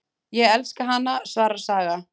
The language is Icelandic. Ég elska hana, svarar Saga.